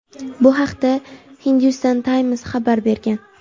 Bu haqda "Hindustan Times" xabar bergan.